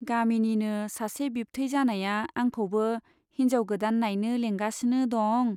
गामिनिनो सासे बिबथै जानाया आंखौबो हिन्जाव गोदान नाइनो लेंगासिनो दं।